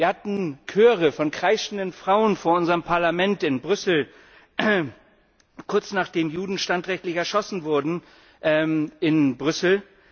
Wir hatten Chöre von kreischenden Frauen vor unserem Parlament in Brüssel, kurz nachdem Juden standrechtlich erschossen wurden in Brüssel.